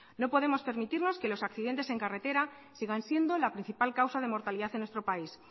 no podemos permitirnos que los accidentes en carretera sigan siendo la principal causa de mortalidad en nuestro país